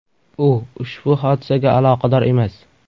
U ushbu hodisaga aloqador emas.